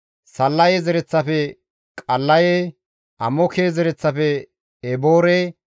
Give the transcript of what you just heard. Sallaye zereththafe Qallaye, Amooke zereththafe Eboore,